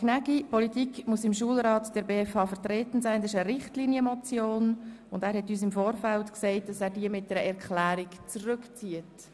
Gnägi hat uns im Vorfeld gesagt, dass er sie mit einer Erklärung zurückzieht.